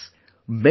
Friends,